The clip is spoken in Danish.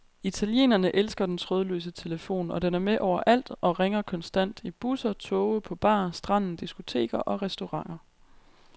Italienerne elsker den trådløse telefon, og den er med overalt og ringer konstant i busser, toge, på bar, stranden, diskoteker og restauranter.